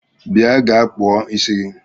Bịa gaa kpụọ ịsị gi!